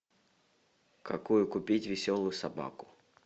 какую купить веселую собаку